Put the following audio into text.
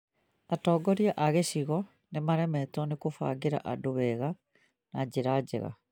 Atongoria a gĩcigo nĩ maremetwo nĩ kũbangĩra andũ wega na njĩra njega